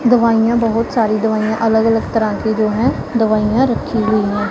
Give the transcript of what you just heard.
दवाइयां बहुत सारी दवाइयां अलग अलग तरह की जो हैं दवाइयां रखी हुई हैं।